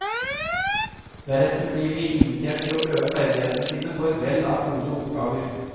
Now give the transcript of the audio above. Deretter blir de invitert til å prøve ferdighetene sine på et vell av gode oppgaver.